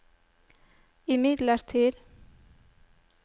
imidlertid